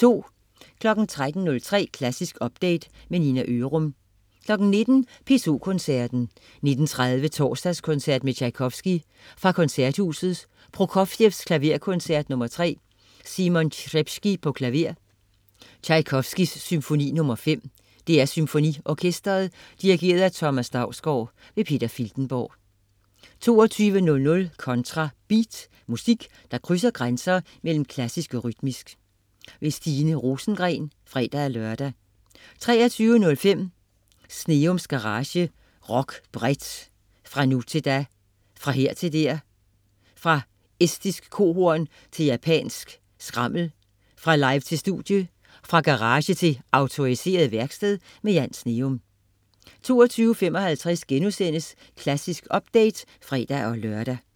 13.03 Klassisk update. Nina Ørum 19.00 P2 Koncerten. 19.30 Torsdagskoncert med Tjajkovskij. Fra Koncerthuset. Prokofjev: Klaverkoncert nr. 3. Simon Trpceski, klaver. Tjajkovskij: Symfoni nr. 5. DR SymfoniOrkestret. Dirigent: Thomas Dausgaard. Peter Filtenborg 22.00 Kontra Beat. Musik, der krydser grænser mellem klassisk og rytmisk. Stine Rosengren (fre-lør) 23.05 Sneums Garage. Rock bredt. Fra nu til da. Fra her til der. Fra estisk kohorn til japansk skrammel. Fra live til studie. Fra garage til autoriseret værksted. Jan Sneum 00.55 Klassisk update* (fre-lør)